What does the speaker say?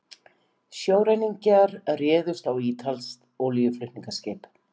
Sjóræningjar réðust á ítalskt olíuflutningaskip